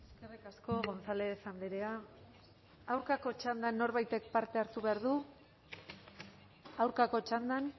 eskerrik asko gonzález andrea aurkako txandan norbaitek parte hartu behar du aurkako txandan